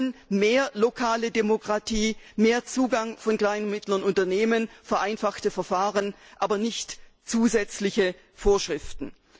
Wir wollen mehr lokale Demokratie, mehr Zugang von kleinen und mittleren Unternehmen, vereinfachte Verfahren, aber keine zusätzlichen Vorschriften.